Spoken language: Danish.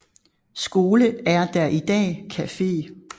Skole er der i dag cafe